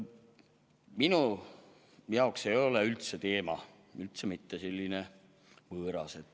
Minu jaoks ei ole see teema üldse mitte võõras.